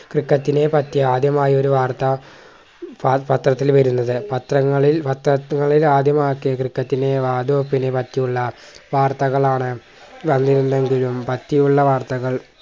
ക്രിക്കറ്റിനെ പറ്റി ആദ്യമായി ഒരു വാർത്ത പ പത്രത്തിൽ വരുന്നത് പത്രങ്ങളിൽ പത്രങ്ങളിൽ ആദ്യമാക്കിയ ക്രിക്കറ്റിനെ വാതുവെപ്പിനെ പറ്റിയുള്ള വാർത്തകളാണ് വന്നിരുന്നെങ്കിലും പറ്റിയുള്ള വാർത്തകൾ